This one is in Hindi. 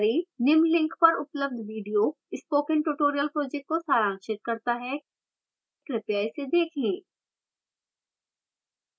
निम्न link पर उपलब्ध video spoken tutorial project को सारांशित करता है कृपया इसे देखें